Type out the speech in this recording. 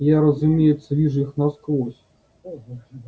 я разумеется вижу их насквозь